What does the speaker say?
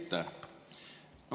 Aitäh!